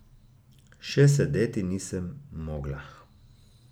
Še sedeti nisem mogla.